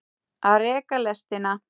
Að reka lestina